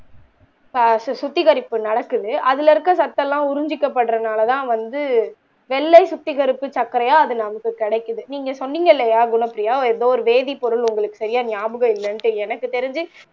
சுத்திகரிப்பு நடக்குது அதுல இருக்கிற சத்தெல்லாம் உரிஞ்சிக்கப்படுறனால தான் வந்து வெள்ளை சுத்திகரிப்பு சர்க்கரையா அது நமக்கு கிடைக்குது நீங்க சொன்னீங்க இல்லையா குனப்பிரியா ஏதோ ஒரு பேதி பொருள் உங்களுக்கு சரியா ஞாபகம் இல்லைன்னு எனக்கு தெரிஞ்சு